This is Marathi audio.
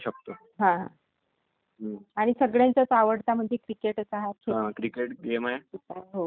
तर जसे आपले काही नामवंत खेळाडी आहेत.जसे कपिल देव आहेत....